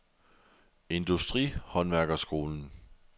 Industri & Håndværkerskolen